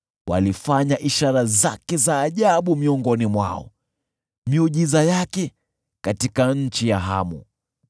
Walifanya ishara zake za ajabu miongoni mwao, miujiza yake katika nchi ya Hamu.